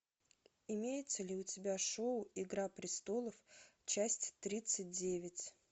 имеется ли у тебя шоу игра престолов часть тридцать девять